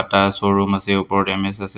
এটা showroom আছে ওপৰত এম_এছ আছে।